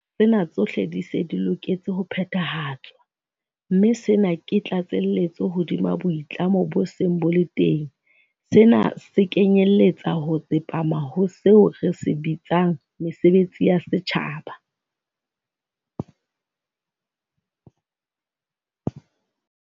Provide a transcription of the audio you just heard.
Tsena tsohle di se di loketse ho phethahatswa, mme sena ke tlatselletso hodima boitlamo bo seng bo le teng. Sena se kenyeletsa ho tsepama ho seo re se bitsang 'mesebetsi ya setjhaba'.